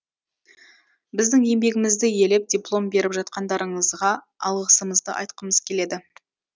біздің еңбегімізді елеп диплом беріп жатқандарыңызға алғысымызды айтқымыз келеді